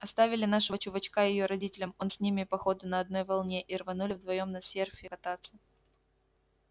оставили нашего чувачка её родителям он с ними по ходу на одной волне и рванули вдвоём на серфе кататься